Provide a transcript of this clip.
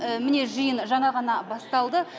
міне жиын жаңа ғана басталды